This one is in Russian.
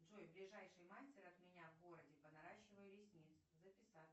джой ближайший мастер от меня в городе по наращиванию ресниц записаться